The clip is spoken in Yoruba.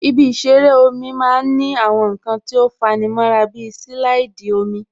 Ibi ìṣeré omi máa ń ní àwọn nǹkan tó fa'ni mọ́ra bí silaidi omi